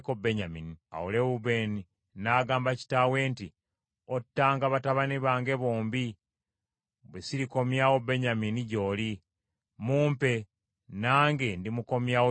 Awo Lewubeeni n’agamba kitaawe nti, “Ottanga batabani bange bombi, bwe sirikomyawo Benyamini gy’oli; mumpe, nange ndimukomyawo gy’oli.”